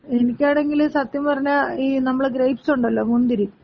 എനിക്കാണെങ്കില് സത്യം പറഞ്ഞാ ഈ നമ്മള ഗ്രേപ്സ് ഉണ്ടല്ലോ, മുന്തിരി.